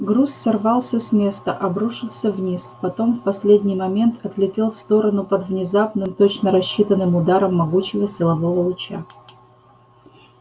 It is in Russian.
груз сорвался с места обрушился вниз потом в последний момент отлетел в сторону под внезапным точно рассчитанным ударом могучего силового луча